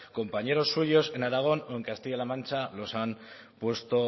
compañeros suyos en aragón o en castilla la mancha los han puesto